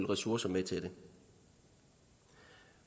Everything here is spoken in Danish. ressourcer med til det